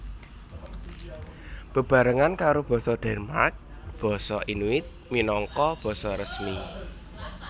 Bebarengan karo basa Denmark basa Inuit minangka basa resmi